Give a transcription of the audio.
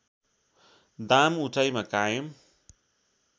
दाम उचाइमा कायम